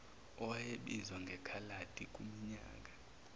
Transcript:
owayebizwa ngekhaladi kuminyaka